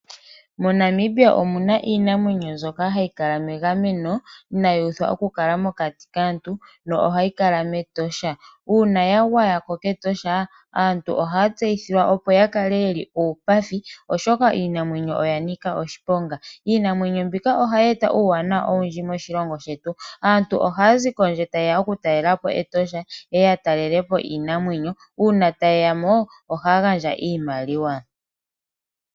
MoNamibia omu na iinamwenyo mbyoka hayi kala megameno inaayi utha okukala mokati kaantu na ohayi kala mEtosha. Uuna ya gwaya ko kEtosha, aantu ohaa tseyithilwa opo ya kale ye li uupathi, oshoka iinamwenyo oya nika oshiponga. Iinamwenyo mbika ohayi eta uuwanawa owundji moshilongo shetu. Aantu ohaya zi kondje taye ya okutalela po Etosha, ye ye ya talele po iinamwenyo. Uuna taye ya mo, ohaa gandja iimaliwa.